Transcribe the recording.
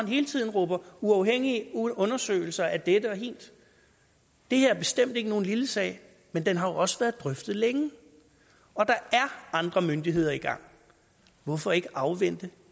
hele tiden råber uafhængige undersøgelser af dette og hint det her er bestemt ikke nogen lille sag men den har jo også været drøftet længe og der er andre myndigheder i gang hvorfor ikke afvente